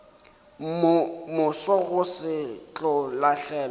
moso go se tlo lahlelwa